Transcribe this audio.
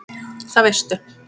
Það veistu